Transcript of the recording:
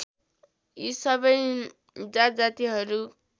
यी सबै जातजातिहरू